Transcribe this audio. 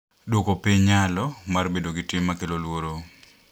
Duoko piny nyalo mar bedo gi tim ma kelo luoro